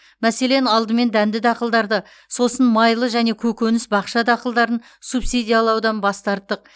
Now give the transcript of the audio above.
мәселен алдымен дәнді дақылдарды сосын майлы және көкөніс бақша дақылдарын субсидиялаудан бас тарттық